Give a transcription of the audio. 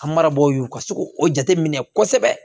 An marabagaw ka se k'o jate minɛ kosɛbɛ